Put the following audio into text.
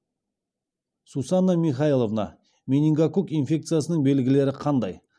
сусанна михайловна менингококк инфекциясының белгілері қандай